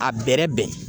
A bɛrɛ bɛn